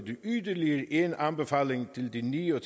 yderligere en anbefaling til de ni og